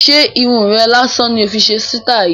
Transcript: Ṣé Irun rè lásán ni o fi síítì yìí?